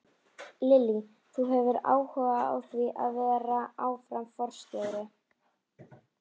Lillý: Þú hefur áhuga á því að vera áfram forstjóri?